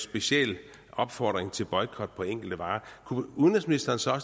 speciel opfordring til boykot af enkelte varer kunne udenrigsministeren så